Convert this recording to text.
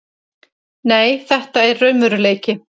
Nei, þetta er raunveruleiki.